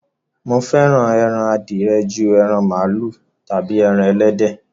Mo fẹ́ran ẹran àdìẹ̀ jù ẹran malu tábí ẹran ẹlẹdẹ.